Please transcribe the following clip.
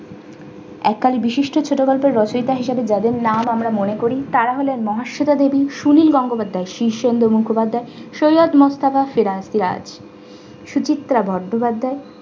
একজন বিশিষ্ট ছোটগল্পের রচয়িতা হিসেবে যাদের নাম আমরা মনে করি তারা হলেন মহেশ্বিতা দেবী সুনীল গাঙ্গোপাধ্যায় শীর্ষেন্দু মুখোপাধ্যায় সৈয়দ মোস্তফা সিরা~ সিরাজ সুচিত্রা বন্দ্যোপাধ্যায়